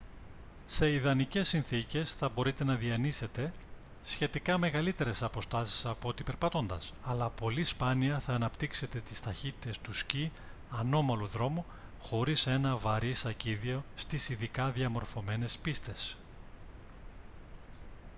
σε ιδανικές συνθήκες θα μπορείτε να διανύσετε σχετικά μεγαλύτερες αποστάσεις απ' ό,τι περπατώντας - αλλά πολύ σπάνια θα αναπτύξετε τις ταχύτητες του σκι ανώμαλου δρόμου χωρίς ένα βαρύ σακίδιο στις ειδικά διαμορφωμένες πίστες